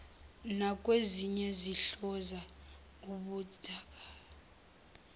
nakwezinye sihlonza ubuthaka